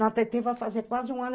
Na Tetê vai fazer quase um ano.